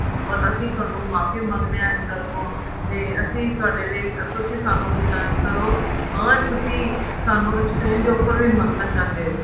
or ਅਸੀਂ ਤੁਹਾਨੂੰ ਮਾਫ਼ੀ ਮੰਗਦੇ ਹਾਂ ਦਿਲ ਤੋਂ ਤੇ ਅਸੀਂ ਤੁਹਾਡੇ ਲਈ ਤੁਸੀਂ ਸਾਨੂੰ return ਕਰੋ or ਤੁਸੀਂ ਸਾਨੂੰ exchange offer ਵੀ ਮੰਗਣਾ ਚਾਹੁੰਦੇ ਹੋ